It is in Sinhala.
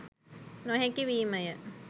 නොහැකි වීමය.